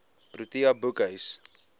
protea boekhuis